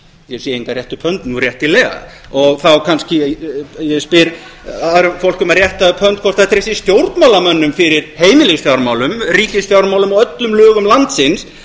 ég sé engan rétta upp hönd nú réttilega og þá kannski spyr ég fólk um að rétta upp hönd hvort það treysti stjórnmálamönnum fyrir heimilisfjármálum ríkisfjármálum og öllum lögum landsins